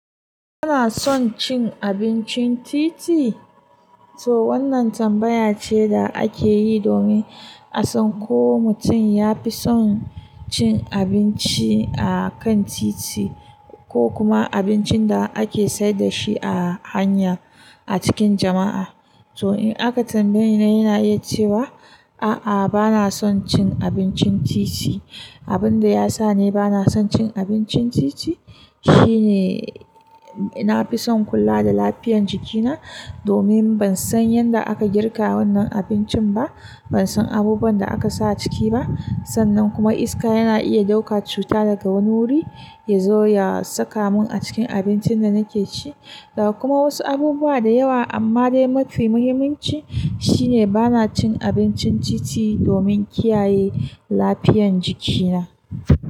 Kana son cin abincin titi? To wannan tambaya ce da ake yi domin a san ko mutum ya fi son cin abinci a kan titi ko kuma abincin da ake sayar da shi a hanya a cikin jama'a. To in aka tambaye ni, yana iya cewa a'a, bana son cin abincin titi. Abin da ya sa ni bana son cin abincin titi shi ne na fi son kula da lafiyar jikina domin ban san yadda aka girka wannan abincin ba, ban san abubuwan da aka sa ciki ba. Sannan kuma iska yana iya ɗauka cuta daga wani wuri ya zo ya saka mun a cikin abincin da nake ci da kuma wasu abubuwa da yawa. Amma dai mafi muhimmanci shine bana cin abincin titi domin kiyaye lafiyan jikina.